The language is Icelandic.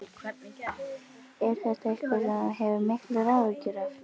Er þetta eitthvað sem þú hefur miklar áhyggjur af?